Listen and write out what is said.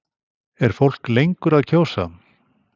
Er fólk lengur að kjósa?